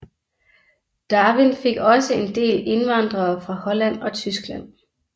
Darwin fik også en del indvandrere fra Holland og Tyskland